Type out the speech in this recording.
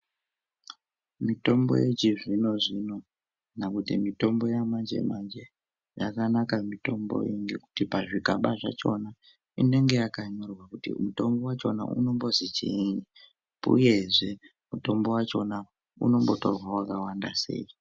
Mitombo yechizvino zvino kana kuti mitombo yamanje manje yakanaka mitombo iyi ngekuti pazvigaba zvachona inenge yakanyorwa kuti mutombo wachona unombozi chiinyi uyezve mutombo wachona unombotorwe wakawanda sei.